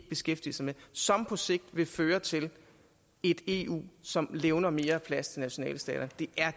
beskæftige sig med og som på sigt vil føre til et eu som levner mere plads til nationalstaterne det er